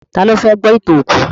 Tá lo fẹ́ gbọ́ ìtàn òkú?